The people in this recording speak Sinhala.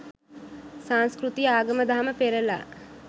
සංස්කෘතිය ආගම දහම පෙරළා